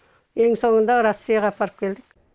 ең соңында россияға апарып келдік